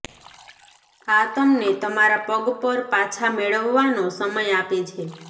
આ તમને તમારા પગ પર પાછા મેળવવાનો સમય આપે છે